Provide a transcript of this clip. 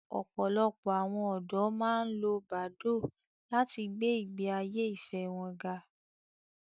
Ọ̀pọ̀lọpọ̀ àwọn ọ̀dọ́ máa ń lo Badoo láti gbé ìgbé ayé ìfẹ́ wọn ga